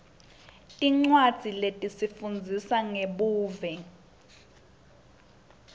tincwadzi letifundzisa ngebuve